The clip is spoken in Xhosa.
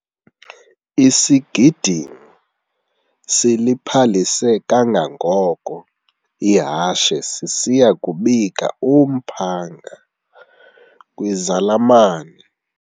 Isigidimi siliphalise kangangoko ihashe sisiya kubika umphanga kwizalamane.